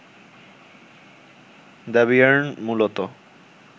দ্যবিয়ের্ন মূলত